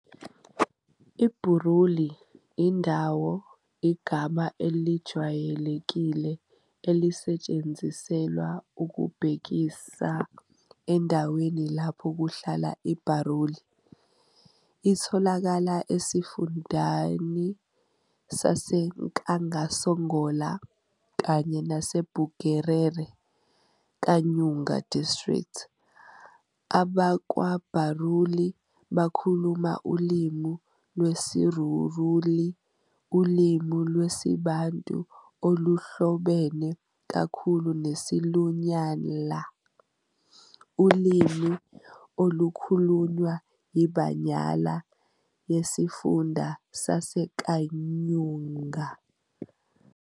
IBuruuli, indawo, igama elijwayelekile elisetshenziselwa ukubhekisa endaweni lapho kuhlala iBaruuli. Itholakala esifundeni saseNakasongola, kanye naseBugerere Kayunga District. AbakwaBaruuli bakhuluma ulimi lwesiRuruuli, ulimi lwesiBantu oluhlobene kakhulu nesiLunyala, ulimi olukhulunywa yiBanyala yesiFunda saseKayunga.